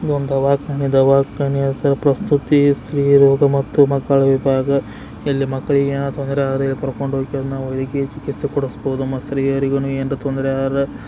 ಇದು ಒಂದು ದವಾಕಾನೆ ದವಾಕಾನೆ ಒಂದು ಪ್ರಸ್ತುತೇ ಸ್ತ್ರೀ ಹೀರೋರಿಗೆ ಮತ್ತು ಮಕ್ಕಳವಿಭಾಗ ಇಲ್ಲಿ ಮಕ್ಕಳು ತೊಂದ್ರೆ ಆದ್ರೆ ಕರ್ಕೊಂಡು ಹೋಗ್ತಿವಿ ನಾವು ಚಿಕಿತ್ಸೆ ಕೊಡಿಸಬಹುದು ಮತ್ತೆ ಸ್ತ್ರೀಯರಿಗೂ ಏನಾದ್ರೂ ತೊಂದರೆ ಆರೆ --